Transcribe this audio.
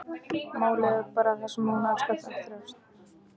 Málið er bara það að hún elskar að þjást.